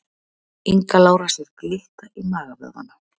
Inga Lára sér glitta í magavöðvana